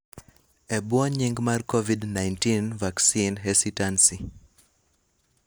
e bwo nying' mar COVID-19 Vaccine Hesitancy